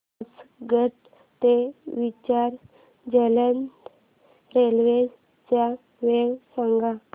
चर्चगेट ते विरार जलद रेल्वे च्या वेळा सांगा